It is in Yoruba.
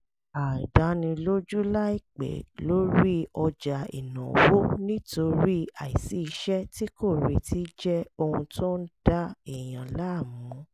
àìdánilójú láìpẹ́ lórí ọjà ìnáwó nítorí àìsí iṣẹ́ tí kò retí jẹ́ ohun tó ń da èèyàn láàmú